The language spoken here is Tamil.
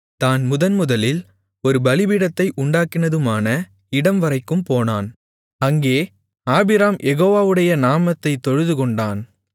தான் முதன்முதலில் ஒரு பலிபீடத்தை உண்டாக்கினதுமான இடம்வரைக்கும் போனான் அங்கே ஆபிராம் யெகோவாவுடைய நாமத்தைத் தொழுதுகொண்டான்